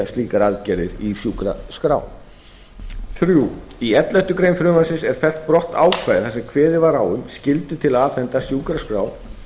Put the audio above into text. slíkar aðgerðir í sjúkraskrám þriðji í elleftu greinar frumvarpsins er fellt brott ákvæði þar sem kveðið var á um skyldu til að afhenda sjúkraskrá